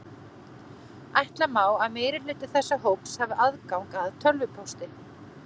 Ætla má að meirihluti þessa hóps hafi aðgang að tölvupósti.